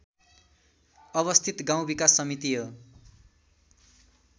अवस्थित गाउँ विकास समिति हो